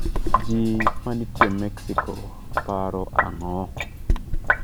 Ji manitie Mecixo paro ang'o?